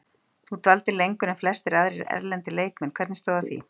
Þú dvaldir lengur en flestir aðrir erlendir leikmenn, hvernig stóð að því?